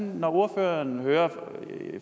når ordføreren hører